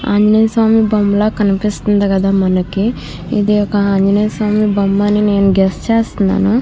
ఆంజనేయ స్వామి బొమ్మ లాగా కనిపిస్తుంది కధ మనకి ఇది ఒక ఆంజనేయ స్వామి బొమ్మ అని నేను గెస్ చేస్తున్నాను.